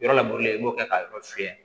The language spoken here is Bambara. Yɔrɔ lakorilen i b'o kɛ ka yɔrɔ fiyɛ